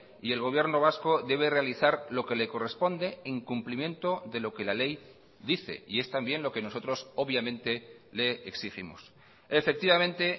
y el gobierno vasco debe realizar lo que le corresponde en cumplimiento de lo que la ley dice y es también lo que nosotros obviamente le exigimos efectivamente